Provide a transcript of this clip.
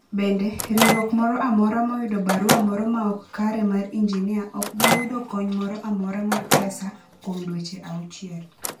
Bende, riwruok moro amora moyudo barua moro maok kare mar injinia ok bi yudo kony moro amora mar pesa kuom dweche auchiel.